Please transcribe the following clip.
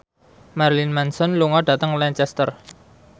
Marilyn Manson lunga dhateng Lancaster